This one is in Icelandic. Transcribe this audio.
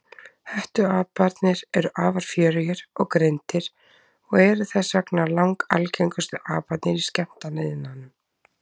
Hettuaparnir eru afar fjörugir og greindir og eru þess vegna langalgengustu aparnir í skemmtanaiðnaðinum.